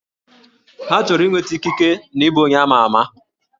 Ha chọrọ inweta ikike na ịbụ onye ama ama